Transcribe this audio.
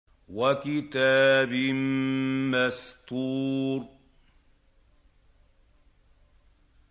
وَكِتَابٍ مَّسْطُورٍ